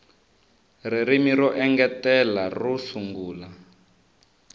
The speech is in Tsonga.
ririmi ro engetela ro sungula